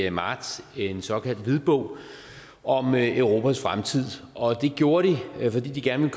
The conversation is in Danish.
i marts en såkaldt hvidbog om europas fremtid og det gjorde de fordi de gerne